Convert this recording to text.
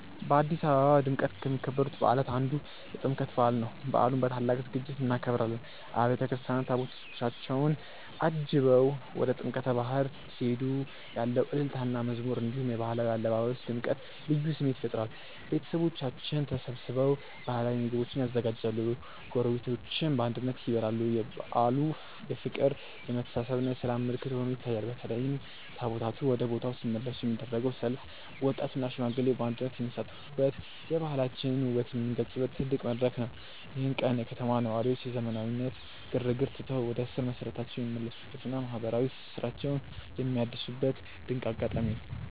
በአዲስ አበባ በድምቀት ከሚከበሩ በዓላት አንዱ የጥምቀት በዓል ነው። በዓሉን በታላቅ ዝግጅት እናከብራለን። አብያተ ክርስቲያናት ታቦታታቸውን አጅበው ወደ ጥምቀተ ባሕር ሲሄዱ ያለው እልልታና መዝሙር፣ እንዲሁም የባህላዊ አለባበስ ድምቀት ልዩ ስሜት ይፈጥራል። ቤተሰቦቻችን ተሰብስበው ባህላዊ ምግቦችን ያዘጋጃሉ፤ ጎረቤቶችም በአንድነት ይበላሉ። በዓሉ የፍቅር፣ የመተሳሰብና የሰላም ምልክት ሆኖ ይታያል። በተለይም ታቦታቱ ወደ ቦታው ሲመለሱ የሚደረገው ሰልፍ ወጣቱና ሽማግሌው በአንድነት የሚሳተፉበት፣ የባህላችንን ውበት የምንገልጽበት ትልቅ መድረክ ነው። ይህ ቀን የከተማዋ ነዋሪዎች የዘመናዊነት ግርግርን ትተው ወደ ስር መሰረታቸው የሚመለሱበትና ማህበራዊ ትስስራቸውን የሚያድሱበት ድንቅ አጋጣሚ ነው።